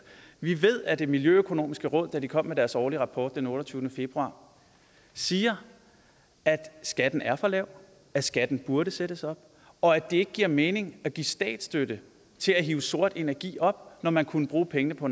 vi ved at det miljøøkonomiske råd der kom med deres årlige rapport den otteogtyvende februar siger at skatten er for lav at skatten burde sættes op og at det ikke giver mening at give statsstøtte til at hive sort energi op når man kunne bruge pengene på